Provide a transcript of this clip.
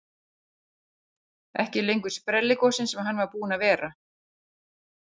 Ekki lengur sprelligosinn sem hann var búinn að vera.